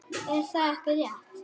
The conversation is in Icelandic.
Er það ekki rétt?